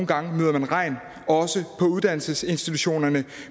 gange møder regn også på uddannelsesinstitutionerne